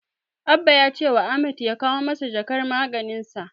Abba ya cewa Ahmad ya kawo masa jakar maganinsa.